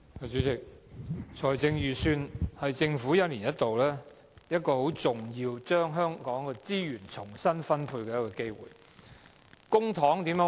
主席，財政預算案是政府一年一度將社會資源重新分配的重要機會。